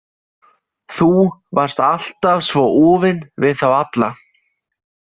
Þú varst alltaf svo úfin við þá alla.